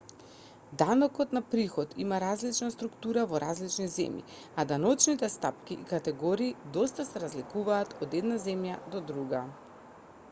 данокот на приход има различна структура во различни земји а даночните стапки и категории доста се разликуваат од една земја до друга